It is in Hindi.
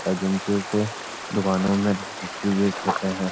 एजेंसियों से दुकानों में डिस्ट्रीब्यूट करतें हैं।